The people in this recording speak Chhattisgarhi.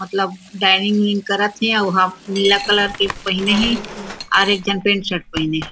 मतलब ड्राइंग उइन करत थे वहां नीला कलर के पहने हे और एक झन पेंट शर्ट पहिने हे।